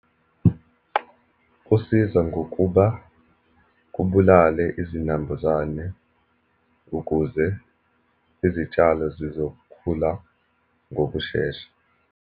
Kusiza ngokuba kubulale izinambuzane ukuze izitshalo zizokhula ngokushesha.